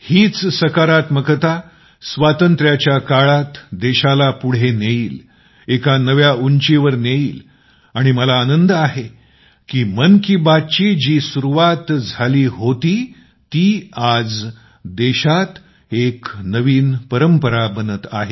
हीच सकारात्मकता स्वातंत्र्याच्या काळात देशाला पुढे नेईल एका नव्या उंचीवर नेईल आणि मला आनंद आहे की मन की बात ची जी सुरुवात झाली होती ती आज देशात एक नवीन परंपरा बनत आहे